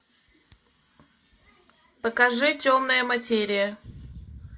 покажи темная материя